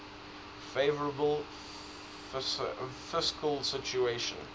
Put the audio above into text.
favourable fiscal situation